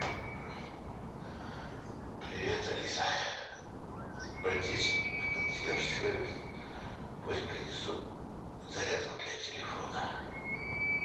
привет алиса обратись в консьерж сервис пусть принесут зарядку для телефона